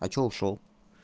а что ушёл